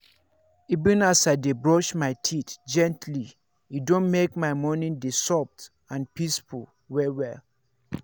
even as i dey brush my teeth gently e don make my morning dey soft and peaceful well-well.